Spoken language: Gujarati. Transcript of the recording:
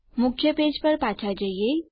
મુખ્ય પેજ પર પાછા જઈએ